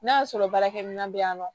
N'a y'a sɔrɔ baarakɛminɛn bɛ yan nɔ